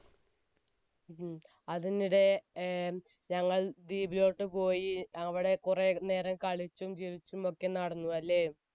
ഉം. അതിനിടെ ഞങ്ങൾ beach ലോട്ട് പോയി അവിടെ കുറെ നേരം കളിച്ചും ചിരിച്ചുമൊക്കെ നടന്നു അല്ലേ?